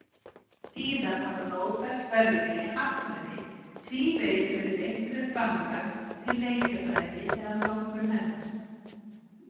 Síðan hafa Nóbelsverðlaunin í hagfræði tvívegis verið veitt fyrir framlag til leikjafræði eða notkun hennar.